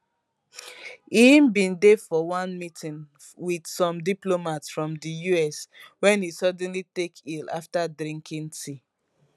e bin dey for dey for one meeting wit some diplomats from di us wen e suddenly take ill afta drinking tea